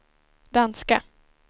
danska